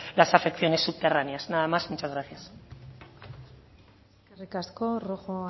las afecciones subterráneas nada más y muchas gracias eskerrik asko rojo